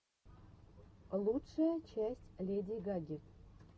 лучшая часть леди гаги